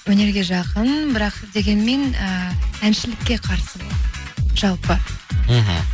өнерге жақын бірақ дегенмен ііі әншілікке қарсы болды жалпы мхм